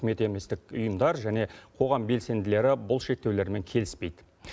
үкімет еместік ұйымдар және қоғам белсенділері бұл шектеулермен келіспейді